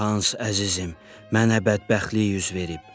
Hans əzizim, mənə bədbəxtlik üz verib.